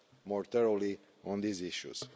more thoroughly on these issues.